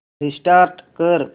restart कर